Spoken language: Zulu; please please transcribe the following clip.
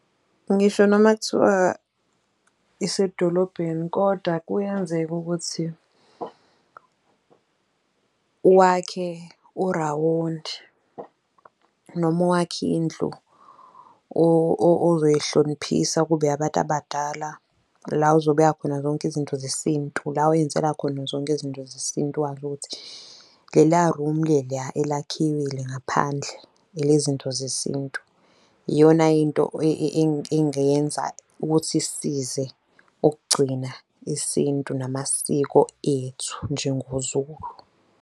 Ngisho noma kuthiwa isedolobheni kodwa kuyenzeka ukuthi wakhe urawondi, noma wakhe indlu ozoyihloniphisa kube eyabantu abadala, la uzobeka khona zonke izinto zesintu, la wenzela khona zonke izinto zesintu, wazi ukuthi leliya rumi leliya elakhiwe ngaphandle elezinto zesintu. Iyona into engenza ukuthi isisize ukugcina isintu namasiko ethu njengoZulu.